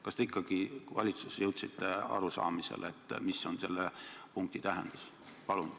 Kas te valitsuses ikka jõudsite arusaamisele, mis on selle punkti tähendus?